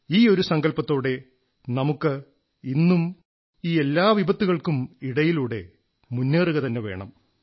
ഈയൊരു സങ്കല്പത്തോടെ നമുക്ക് ഇന്നും ഈ എല്ലാ വിപത്തുകൾക്കും ഇടയിലൂടെ മുന്നേറുകതന്നെ വേണം